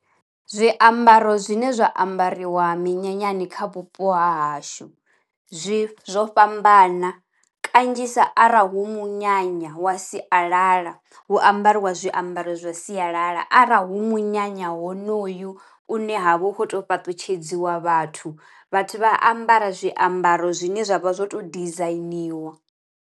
Zwiambaro zwine zwa ambariwa minyanyani kha vhupo ha hashu zwi zwo fhambana, kanzhisa arali hu munyanya wa sialala hu ambariwa zwiambaro zwa sialala. Arali hu munyanya honoyu une ha vha hu khou to fhaṱutshedziwa vhathu vhathu vha ambara zwiambaro zwine zwavha zwo to dizainiwa.